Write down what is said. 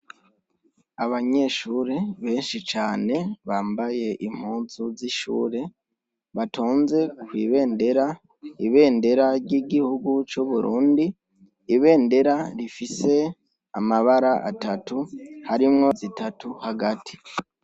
Abanyeshure benshi cane bambaye impuzu z'ishure batonze kwibendera ibendera ry'igihugu cu burundi ibendera rifise amabara atatu harimwo zitatu hagati.